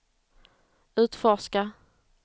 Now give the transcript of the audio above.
utforska